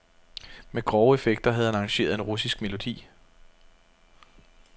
Med grove effekter havde han arrangeret en russisk melodi.